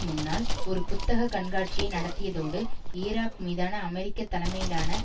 முன்னால் ஒரு புத்தக கண்காட்சியை நடத்தியதோடு ஈராக் மீதான அமெரிக்க தலைமையிலான